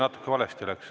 Natuke valesti läks.